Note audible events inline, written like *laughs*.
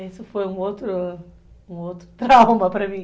Isso foi um outro, um outro *laughs* trauma para mim